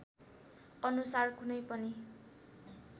अनुसार कुनै पनि